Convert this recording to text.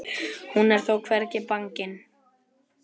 Hún er þó hvergi bangin.